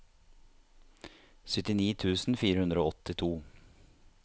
syttini tusen fire hundre og åttito